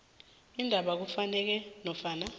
indaba efunekako nofana